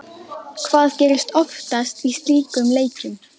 Hvað gerist oftast í slíkum leikjum?